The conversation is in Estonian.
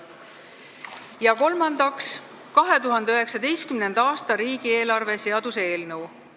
Ja kolmandaks, 2019. aasta riigieelarve seaduse eelnõu.